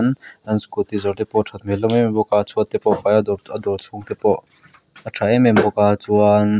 an scooty zawrh te pawh a that hmel hlawm em em bawk a chhuat te pawh a fai a a dawr chhung te pawh a tha em em bawk a chuan--